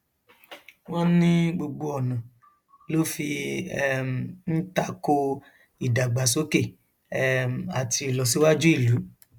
wọn ní gbogbo ọnà ló fi um ń ta ko ìdàgbàsókè um àti ìlọsíwájú ìlú